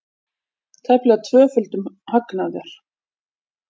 Tæplega tvöföldun hagnaðar